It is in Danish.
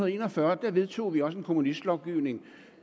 en og fyrre vedtog en kommunistlovgivning